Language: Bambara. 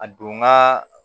A don n ka